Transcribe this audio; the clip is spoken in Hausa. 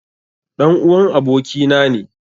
Ɗan'uwan abokina ne.